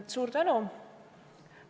Suur tänu!